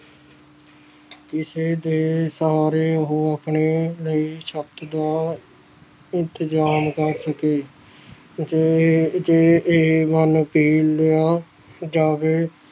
ਕਿਸੇ ਦੇ ਸਹਾਰੇ ਉਹ ਆਪਣੇ ਲਈ ਛੱਤ ਦਾ ਇੰਤਜਾਮ ਕਰਕੇ ਦਏ ਜੇ ਜੇ ਇਹ ਮਨ ਜਾਵੇ